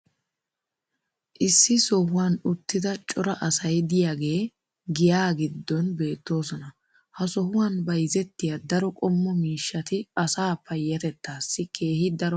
Issi sohuwan uttida cora asay diyaagee giyaa giddon beetoosona. Ha sohuwan bayzzettiya daro qommo miishshati asaa payatettaassi keehi daro maaddoosona.